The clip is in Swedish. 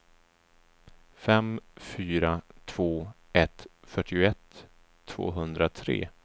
fem fyra två ett fyrtioett tvåhundratre